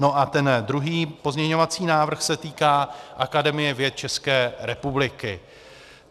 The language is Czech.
No a ten druhý pozměňovací návrh se týká Akademie věd České republiky.